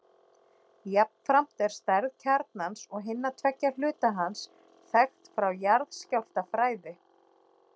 Jafnframt er stærð kjarnans og hinna tveggja hluta hans þekkt frá jarðskjálftafræði.